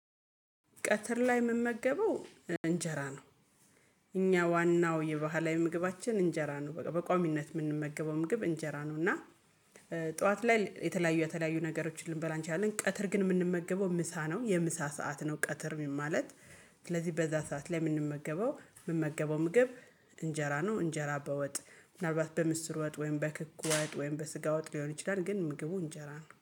ቀትር ላይ የምመገበው እንጀራ ነው። እኛ ዋናው የባህላዊ ምግባችን እንጀራ ነው በቋሚነት የምንመገበው ምግብ እንጀራ ነው እና ጠዋት ላይ የተለያዩ የተለያዩ ነገሮችን ልንበላ እንችላለን ቀትር ግን የምንመገበው ምሳ ነው የምሳ ሰዓት ነው ቀትር ማለት ስለዚህ በዛ ሰዓት ላይ የምንመገበው የምመገበው ምግብ እንጀራ ነው እንጀራ በወጥ ምናልባት በምስጢር ወጥ ወይም በክኩ ወጥ ወይም በስጋ ወጥ ሊሆን ይችላል ግን ምግቡ እንጀራ ነው።